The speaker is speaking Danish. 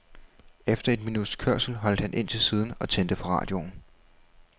Efter et minuts kørsel holdt han ind til siden og tændte for radioen.